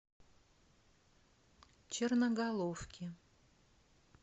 черноголовки